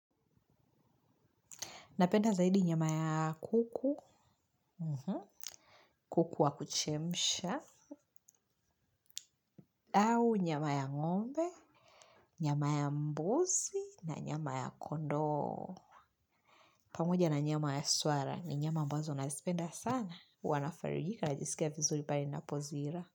Napenda zaidi nyama ya kuku, kuku wa kuchemsha, au nyama ya ngombe, nyama ya mbusi, na nyama ya kondoo. Pamoja na nyama ya swara ni nyama ambazo na spenda sana. Wanafarujika najisikia vizuri pare na pozira.